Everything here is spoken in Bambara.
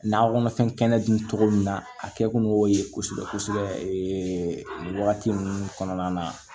Nakɔ kɔnɔfɛn kɛnɛ dun cogo min na a kɛ kun y'o ye kosɛbɛ kosɛbɛ nin wagati ninnu kɔnɔna na